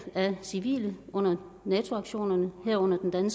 af civile under nato aktionerne herunder den